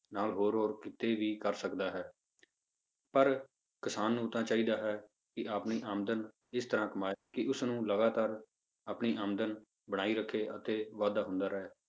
ਨਾਲ ਹੋਰ ਹੋਰ ਕਿੱਤੇ ਵੀ ਕਰ ਸਕਦਾ ਹੈ ਪਰ ਕਿਸਾਨ ਨੂੰ ਤਾਂ ਚਾਹੀਦਾ ਹੈ ਕਿ ਆਪਣੀ ਆਮਦਨ ਇਸ ਤਰ੍ਹਾਂ ਕਮਾਏ ਕਿ ਉਸਨੂੰ ਲਗਾਤਾਰ ਆਪਣੀ ਆਮਦਨ ਬਣਾਈ ਰੱਖੇ ਤੇ ਵਾਧਾ ਹੁੰਦਾ ਰਹੇ।